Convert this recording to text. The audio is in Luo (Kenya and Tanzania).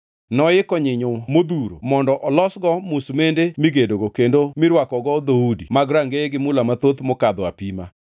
Noiko nyinyo modhuro mondo olosgo musmande migedogo kendo mirwakogo dhoudi mag rangeye gi mula mathoth mokadho apima.